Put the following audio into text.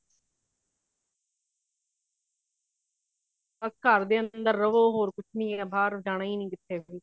ਘਰ ਦੇ ਅੰਦਰ ਰਵੋ ਹੋਰ ਕੁੱਛ ਨਹੀਂ ਬਾਹਰ ਜਾਣਾ ਨਹੀਂ ਕਿੱਥੇ ਵੀ